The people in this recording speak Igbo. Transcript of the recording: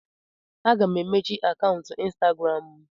Aga m emechi akaụntụ Instagram m.